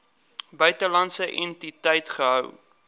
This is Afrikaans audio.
buitelandse entiteit gehou